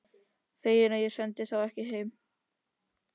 Fegin að ég sendi þá ekki heim.